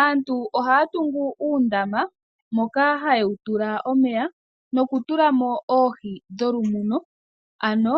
Aantu ohaya tungu uundama moka haye wu tula omeya nokutulamo oohi dholumuno ano